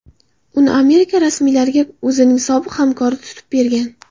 Uni Amerika rasmiylariga o‘zining sobiq hamkori tutib bergan.